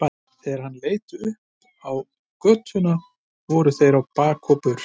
Þegar hann leit upp á götuna voru þeir á bak og burt.